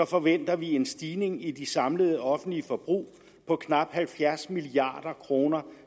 forventer vi en stigning i det samlede offentlige forbrug på knap halvfjerds milliard kroner